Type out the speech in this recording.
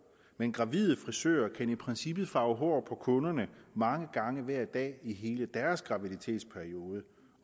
men gravide frisører kan i princippet farve hår på kunderne mange gange hver dag i hele deres graviditetsperiode